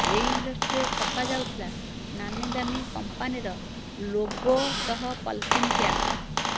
ଏହି ଇଣ୍ଡଷ୍ଟ୍ରିରେ ଛପା ଯାଉଥିଲା ନାମୀଦାମୀ କଂପାନୀର ଲୋଗୋ ସହ ପଲିଥିନ୍ ପ୍ୟାକ୍